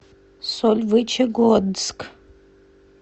сольвычегодск